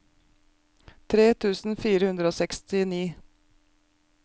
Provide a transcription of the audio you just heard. tre tusen fire hundre og sekstini